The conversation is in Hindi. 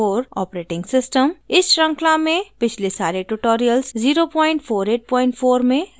इस शृंखला में पिछले सारे tutorials 0484 में recorded किये all थे